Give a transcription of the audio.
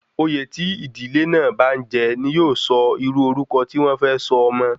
Oyè tí ìdílé náà bá n jẹ ní yóò sọ irú orúkọ tí wọ́n fẹ sọ ọmọ